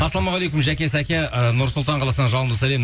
ассалаумағалекум жаке сәке і нұр сұлтан қаласынан жалынды сәлем